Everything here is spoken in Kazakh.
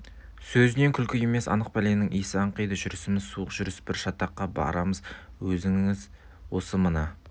сөзінен күлкі емес анық пәленің иісі аңқиды жүрісіміз суық жүріс бір шатаққа барамыз өзіңіз осы мына